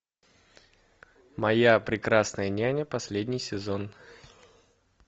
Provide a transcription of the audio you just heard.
моя прекрасная няня последний сезон